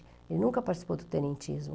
Ele nunca participou do tenentismo.